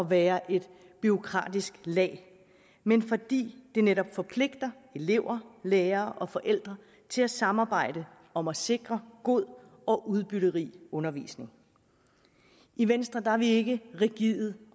være et bureaukratisk lag men fordi de netop forpligter elever lærere og forældre til at samarbejde om at sikre god og udbytterig undervisning i venstre er vi ikke rigide